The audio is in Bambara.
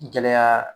Gɛlɛya